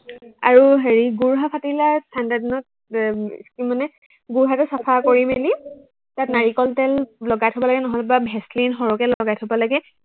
আৰু হেৰি গোৰুহা ফাটিলে ঠাণ্ডা দিনত এৰ তোৰ মানে গোৰুহাটো চাফা কৰি মেলি তাত নাৰিকল তেল লগাই থব লাগে, নহলেবা ভেচলিন সৰহকে লগাই থব লাগে